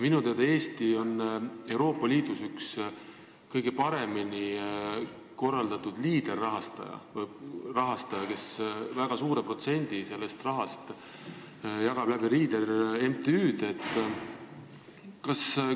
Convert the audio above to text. Minu teada on Eesti Euroopa Liidus üks kõige paremini korraldatud Leader-rahastajaid, kes väga suure protsendi sellest rahast jagab Leader-MTÜ-de kaudu.